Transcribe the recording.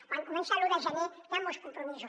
quan comença l’un de gener hi han molts compromisos